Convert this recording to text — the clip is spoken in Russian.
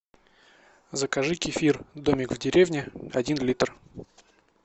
закажи кефир домик в деревне один литр